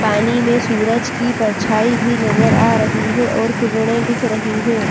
पानी में सूरज की परछाई भी नज़र आ रही है और किरणें दिख रही हैं।